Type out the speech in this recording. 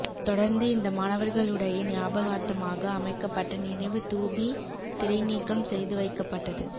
தொடர்ந்து இந்த மாணவர்களுடைய ஞாபகார்த்தமாக அமைக்கப்பட்ட நினைவு தூபி திரைநீக்கம் செய்து வைக்கப்பட்டது